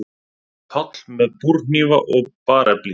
PÁLL: Með búrhnífa og barefli.